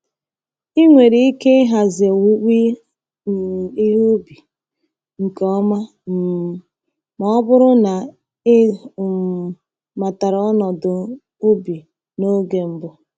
Ị nwere ike ịhazi owuwe um ihe ubi nke ọma um ma ọ bụrụ na ị um matara ọnọdụ ubi n’oge mbụ.